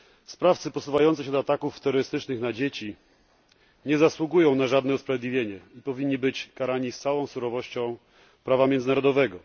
Sprawcy posuwający się do ataków terrorystycznych na dzieci nie zasługują na żadne usprawiedliwienie i powinni być karani z całą surowością prawa międzynarodowego.